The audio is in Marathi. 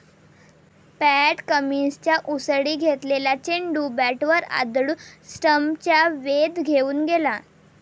पॅट कमिन्सच्या उसळी घेतलेला चेंडू बॅटवर आदळून स्टम्प्सचा वेध घेऊन गेला.